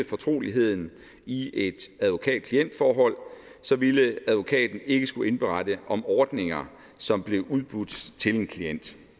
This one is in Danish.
fortroligheden i et advokat klient forhold ville advokaten ikke skulle indberette om ordninger som blev udbudt til en klient